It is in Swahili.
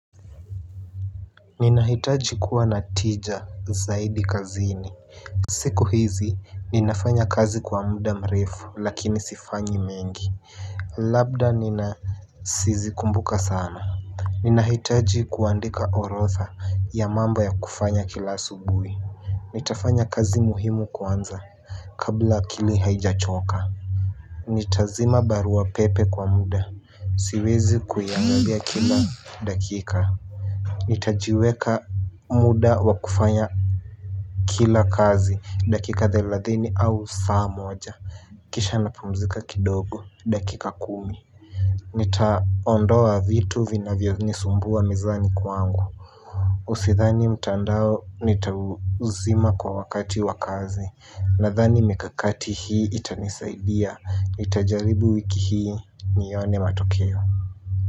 Ninahitaji kuwa na tija zaidi kazini. Siku hizi ninafanya kazi kwa muda mrefu lakini sifanyi mengi. Labda nina sizikumbuka sana. Ninahitaji kuandika orodha ya mambo ya kufanya kila asubuhi. Nitafanya kazi muhimu kwanza kabla akili haijachoka. Nitazima barua pepe kwa muda siwezi kuyaangalia kila dakika. Nitajiweka muda wa kufanya kila kazi dakika thelathini au saa moja. Kisha napumzika kidogo dakika kumi. Nitaondoa vitu vinavyonisumbua mezani kwangu Usidhani mtandao nitauzima kwa wakati wa kazi. Nathani mikakati hii itanisaidia nitajaribu wiki hii nione matokeo.